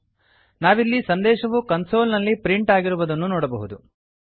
ನಾವಿಲ್ಲಿ ಸಂದೇಶವು ಕನ್ಸೋಲ್ ನಲ್ಲಿ ಪ್ರಿಂಟ್ ಆಗಿರುವುದನ್ನು ನೋಡಬಹುದು